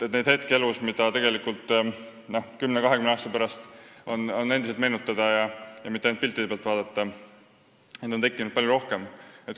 Neid hetki elus, mida 10–20 aasta pärast endiselt meenutada ja mitte ainult piltide pealt vaadata, on tekkinud palju rohkem.